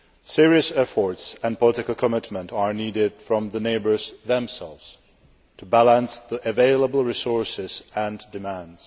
Serious efforts and political commitment are needed from the neighbours themselves to balance the available resources and demands.